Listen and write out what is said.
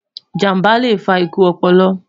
ìjàmbá lẹ fà ikú ọpọlọ